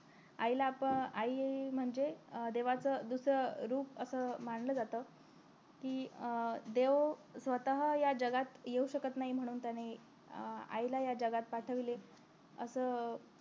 आईला आपण आई म्हणजे देवाचं दुसरं रूप असं मानलं जात कि अं देव स्वतः या जगात येऊ शकत नाही म्हणून त्याने अं आईला या जगात पाठविले असं